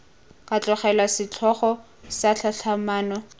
ka tlogelwa setlhogo sa tlhatlhamano